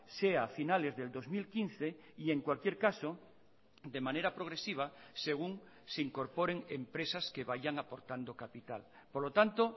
sea a finales del dos mil quince y en cualquier caso de manera progresiva según se incorporen empresas que vayan aportando capital por lo tanto